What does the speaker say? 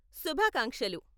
శుభాకాంక్షలు!